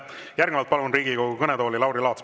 Järgnevalt palun Riigikogu kõnetooli Lauri Laatsi.